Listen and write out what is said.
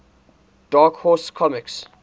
dark horse comics